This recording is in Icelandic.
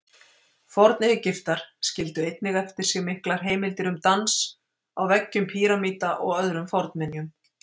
Forn-Egyptar skildu einnig eftir sig miklar heimildir um dans, á veggjum pýramída og öðrum fornminjum.